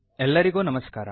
ಎಲ್ಲರಿಗೂ ನಮಸ್ಕಾರ